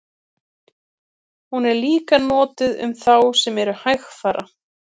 hún er líka notuð um þá sem eru hægfara